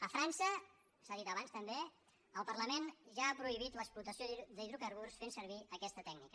a frança s’ha dit abans també el parlament ja ha prohibit l’explotació d’hidrocarburs fent servir aquesta tècnica